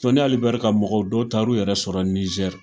Sɔni Ali Bɛei ka mɔgɔw dɔw taa l' u yɛrɛ sɔrɔ Nijɛri.